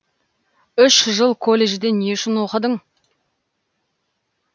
үш жыл колледжді не үшін оқыдың